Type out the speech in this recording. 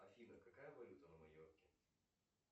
афина какая валюта на майорке